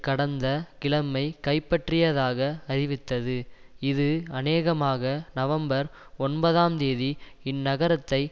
கடந்த கிழமை கைப்பற்றியதாக அறிவித்தது இது அநேகமாக நவம்பர் ஒன்பதாம் தேதி இந்நகரத்தை